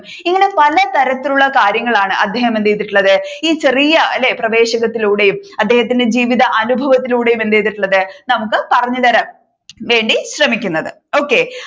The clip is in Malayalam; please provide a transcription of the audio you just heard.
ഇങ്ങനെ പലതരത്തിലുള്ള കാര്യങ്ങളാണ് അദ്ദേഹം എന്ത് ചെയ്തിട്ടുള്ളത് ഈ ചെറിയ അല്ലെ പ്രവേശകത്തിലൂടെയും അദ്ദേഹത്തിന്റെ ജീവിത അനുഭവത്തിലൂടെയും എന്ത് ചെയ്തിട്ടുള്ളത് നമ്മുക്ക് പറഞ്ഞുതരാൻ വേണ്ടി ശ്രമിക്കുന്നത് okay